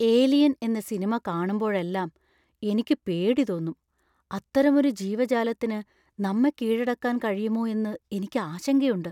"Alien" എന്ന സിനിമ കാണുമ്പോഴെല്ലാം എനിക്ക് പേടി തോന്നും. അത്തരമൊരു ജീവജാലത്തിന് നമ്മെ കീഴടക്കാൻ കഴിയുമോ എന്ന് എനിക്ക് ആശങ്കയുണ്ട്.